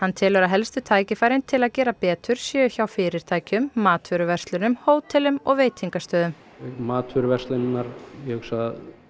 telur að helstu tækifærin til að gera betur séu hjá fyrirtækjum matvöruverslunum hótelum og veitingastöðum matvöruverslanirnar ég hugsa að